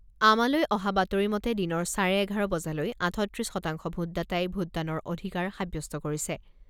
আমালৈ অহা বাতৰি মতে দিনৰ চাৰে এঘাৰ বজালৈ আঠত্ৰিছ শতাংশ ভোটদাতাই ভোটদানৰ অধিকাৰ সাব্যস্ত কৰিছে।